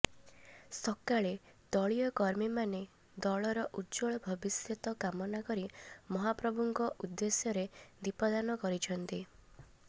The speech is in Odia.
ସକାଳେ ଦଳୀୟ କର୍ମୀମାନେ ଦଳର ଉଜ୍ଜ୍ୱଳ ଭବିଷ୍ୟତ କାମନା କରି ମହାପ୍ରଭୁଙ୍କ ଉଦେ୍ଦଶ୍ୟରେ ଦୀପଦାନ କରିଛନ୍ତି